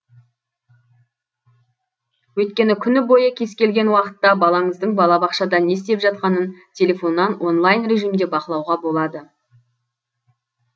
өйткені күні бойы кез келген уақытта балаңыздың балабақшада не істеп жатқанын телефоннан онлайн режимде бақылауға болады